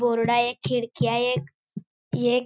board आहे खिडकी आहे एक एक--